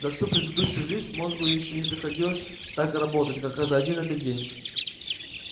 за всю предыдущую жизнь мозгу ещё не приходилось так работать как а за один этот день